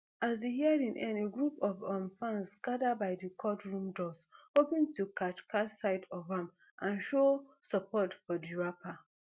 as di hearing end a group of um fans gada by di courtroom doors hoping to catch catch sight of am and show support for di rapper